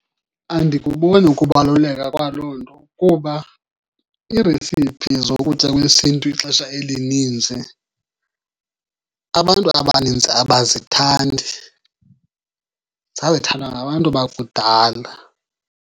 Andikuboni ukubaluleka kwaloo nto kuba iiresiphi zokutya kwesiNtu ixesha elininzi abantu abaninzi abazithandi, zazithandwa ngabantu bakudala.